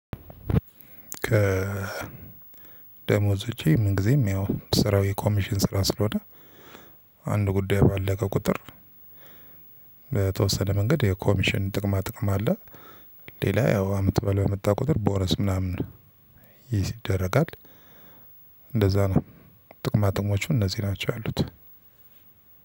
ከ ደሞዝ ውጪ ምን ጊዜም ያው ስራው የኮሚሽን ስራ ስለሆነ አንድ ጉዳይ ባለው ከቁጥር በተወሰነ መንገድ የኮሚሽን ጥቅማ ጥቅም አለ። ሌላ ያው አመት በለው የመጣ ቁጥር ቦነስ ምናምን ይሄ ሲደረጋል። እንደዛ ነው ጥቅማጥቅሞቹ እነዚህ ናቸው ያሉት።